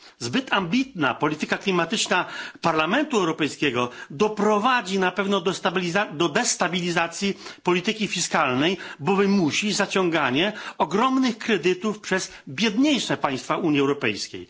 Zbyt ambitna polityka klimatyczna Parlamentu Europejskiego doprowadzi na pewno do destabilizacji polityki fiskalnej, bowiem wymusi zaciąganie ogromnych kredytów przez biedniejsze państwa Unii Europejskiej.